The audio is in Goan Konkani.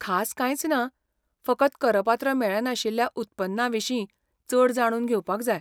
खास कांयच ना, फकत करपात्र मेळनाशिल्ल्या उत्पन्ना विशीं चड जाणून घेवपाक जाय.